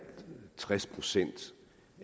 tres procent